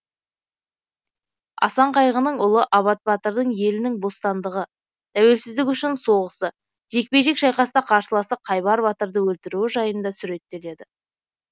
асан қайғының ұлы абат батырдың елінің бостандығы тәуелсіздігі үшін соғысы жекпе жек шайқаста қарсыласы қайбар батырды өлтіруі жайында суреттеледі